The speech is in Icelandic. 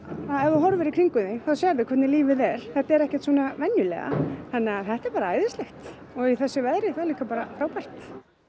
ef þú horfir í kringum þig þá sérðu hvernig lífið er þetta er ekki svona venjulega þannig að þetta er bara æðislegt og í þessu veðri bara frábært